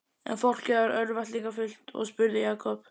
En fólkið varð örvæntingarfullt og spurði Jakob